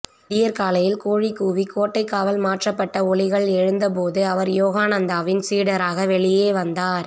விடியற்காலையில் கோழி கூவி கோட்டைக்காவல் மாற்றப்பட்ட ஒலிகள் எழுந்தபோது அவர் யோகானந்தாவின் சீடராக வெளியே வந்தார்